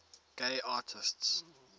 gay artists